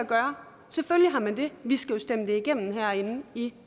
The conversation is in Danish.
gøre selvfølgelig har man det vi skal jo stemme det igennem herinde i